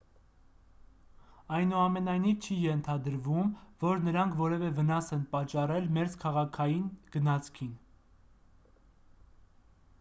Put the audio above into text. այնուամենայնիվ չի ենթադրվում որ նրանք որևէ վնաս են պատճառել մերձքաղաքային գնացքին